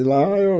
E lá eu...